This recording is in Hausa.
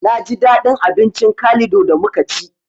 Naji daɗin abincin kalido da muka ci